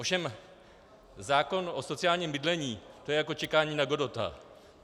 Ovšem zákon o sociálním bydlení, to je jako čekání na Godota.